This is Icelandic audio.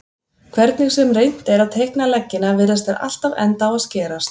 Hvernig sem reynt er að teikna leggina virðast þeir alltaf enda á að skerast.